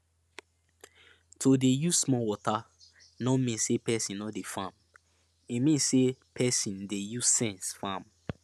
to dey use small water no mean say person no dey farm e mean say person dey use sense farm